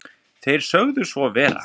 Þeir sögðu svo vera